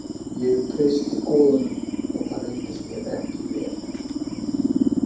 Ég treysti goðunum og það reyndist mér ekki vel